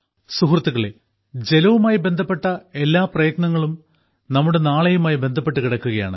സുഹൃത്തുക്കളേ ജലവുമായി ബന്ധപ്പെട്ട എല്ലാ പ്രയത്നങ്ങളും നമ്മുടെ നാളെയുമായി ബന്ധപ്പെട്ടു കിടക്കുകയാണ്